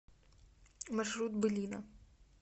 маршрут былина